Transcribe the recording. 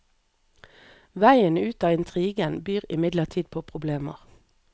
Vegen ut av intrigen byr imidlertid på problemer.